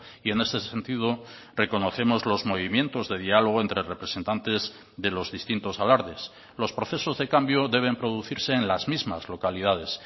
y en ese sentido reconocemos los movimientos de diálogo entre representantes de los distintos alardes los procesos de cambio deben producirse en las mismas localidades